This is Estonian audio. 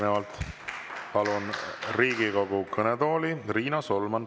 Järgnevalt palun Riigikogu kõnetooli Riina Solmani.